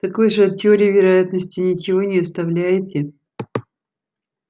так вы же от теории вероятности ничего не оставляете